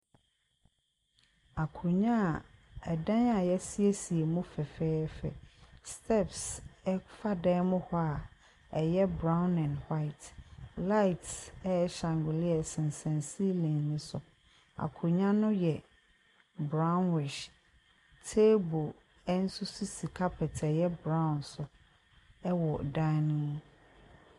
Akonnwa a dan a yɛasiesie mu fɛfɛɛfɛ, stairs fa dan mu hɔ a ɛyɛ brown and white. Light a ɛyɛ shangolia sensɛn silling ne so. Akonnwa no yɛ brownish, table nso si carpet a ɛyɛ brown so wɔ dan ne mu.